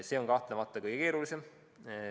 See on kahtlemata kõige keerulisem.